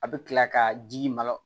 A bɛ kila ka ji malo